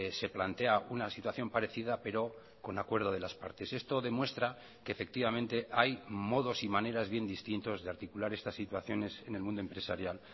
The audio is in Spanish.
se plantea una situación parecida pero con acuerdo de las partes esto demuestra que efectivamente hay modos y maneras bien distintos de articular estas situaciones en el mundo empresarial